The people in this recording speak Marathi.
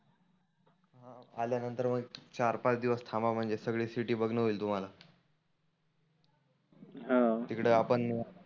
आल्यानंतर मग चार पाच दिवस थांब म्हणजे सगळी सिटी बघनंं होईल तुम्हाला हं तीकडे आपण